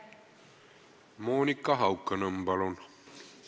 Monika Haukanõmm, palun!